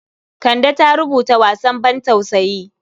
Kande ta rubuta wasan bantausayi.